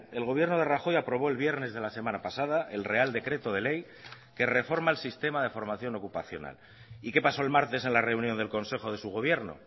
el gobierno de rajoy aprobó el viernes de la semana pasada el real decreto de ley que reforma el sistema de formación ocupacional y qué paso el martes en la reunión del consejo de su gobierno